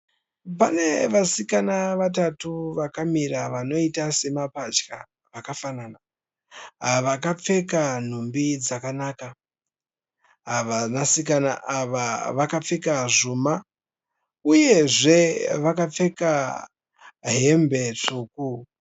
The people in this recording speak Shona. Pane vasikana vatatu vakamira vanoita semapatya vakafanana . Vakapfeka nhumbi dzakanaka. Ava vasikana ava vakapfeka zvuma uyezve vakapfeka hembe tsvuku.